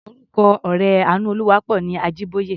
Orúkọ ọ̀rẹ́ Àánúolúwaápọ̀ ni Ajíbóyè.